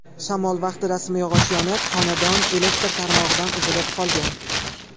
Shamol vaqtida simyog‘och yonib, xonadon elektr tarmog‘idan uzilib qolgan.